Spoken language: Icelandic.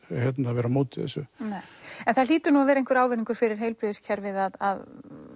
vera á móti þessu en það hlýtur nú að vera einhver ávinningur fyrir heilbrigðiskerfið að